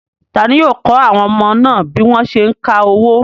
Ta ni yóò kọ́ àwọn ọmọ náà bí wọ́n ṣé ń ka owó?